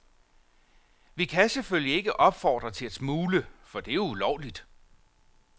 Vi kan selvfølgelig ikke opfordre til at smugle, for det er jo ulovligt.